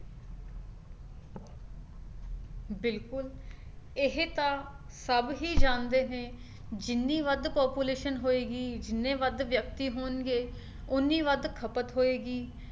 ਬਿਲਕੁਲ ਇਹ ਤਾਂ ਸਭ ਹੀ ਜਾਣਦੇ ਨੇ ਜਿੰਨੀ ਵੱਧ population ਹੋਏਗੀ ਜਿੰਨੇ ਵੱਧ ਵਿਅਕਤੀ ਹੋਣਗੇ ਉਹਨੀ ਵੱਧ ਖਪਤ ਹੋਏਗੀ